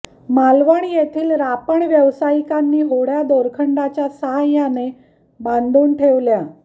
मालवण येथील रापण व्यवसायिकांनी होड्या दोरखंडाच्या साहाय्याने बांधून ठेवल्या